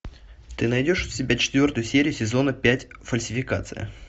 ты найдешь у себя четвертую серию сезона пять фальсификация